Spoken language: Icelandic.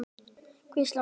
hvíslar röddin.